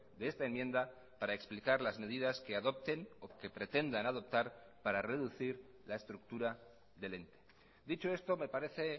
de esta enmienda para explicar las medidas que adopten o que pretendan adoptar para reducir la estructura del ente dicho esto me parece